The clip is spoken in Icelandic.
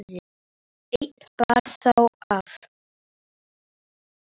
Einn bar þó af.